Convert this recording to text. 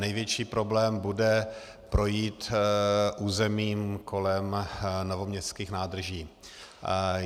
Největší problém bude projít územím kolem novoměstských nádrží.